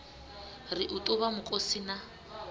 ri u ṱavha mukosi na